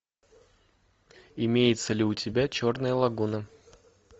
имеется ли у тебя черная лагуна